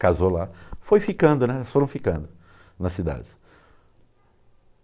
Casou lá, foi ficando, né, elas foram ficando na cidade.